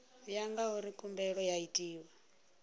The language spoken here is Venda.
ya ngauri khumbelo yo itwa